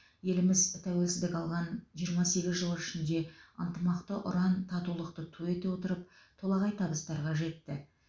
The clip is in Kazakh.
еліміз тәуелсіздік алған жиырма сегіз жыл ішінде ынтымақты ұран татулықты ту ете отырып толағай табыстарға жетті